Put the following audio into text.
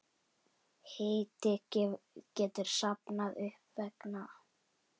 Hiti getur safnast upp vegna